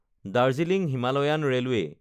Darjeeling Himalayan railway